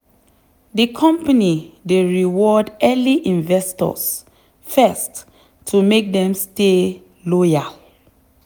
the company dey reward early investors first to make dem stay loyal.